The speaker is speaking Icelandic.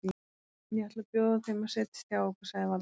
Ég ætla að bjóða þeim að setjast hjá okkur sagði Valdimar.